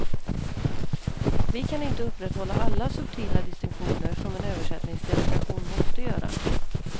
Vi kan inte upprätthålla alla subtila distinktioner, som en översättningsdelegation måste göra.